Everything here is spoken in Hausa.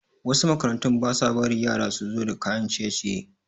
Wasu makarantun basa bari yara suzo da kayan ciye ciye